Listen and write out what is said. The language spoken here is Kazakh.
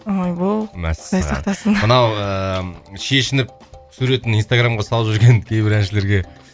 ойбой мәссаған құдай сақтасын мынау ыыы шешініп суретін инстаграмға салып жүрген кейбір әншілерге